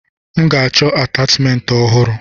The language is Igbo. M ga-achọ atachimentị ọhụrụ.